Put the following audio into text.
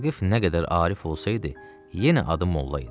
Vaqif nə qədər arif olsaydı, yenə adı molla idi.